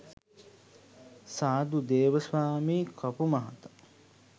සාදු, දේව ස්වාමි කපු මහතා